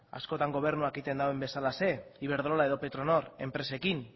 askotan gobernuak egiten duen bezalaxe iberdrola edo petronor enpresekin